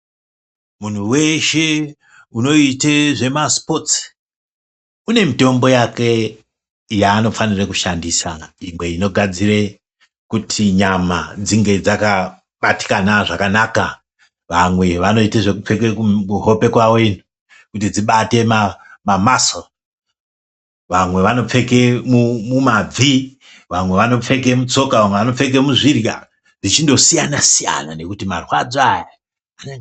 Muntu veshe unoite zvemasipotsi, une mitombo yake yaanofanira kushandisa. Inwe inodadzire kuti nyama dzinge dzakabatikana zvakanaka. Vamwe vanoite zvekupfeke kuhope kwavo ino, kuti dzibate mamasoo. Vamwe vanopfeke mumabvi vamwe vanopfeke mutsoka vamwe vanopfeke muzvirya. Zvichindosiyana-siyana nekuti marwadzo aya anonga.